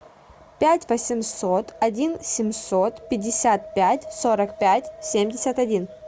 пять восемьсот один семьсот пятьдесят пять сорок пять семьдесят один